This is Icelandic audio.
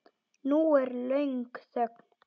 Nú er löng þögn.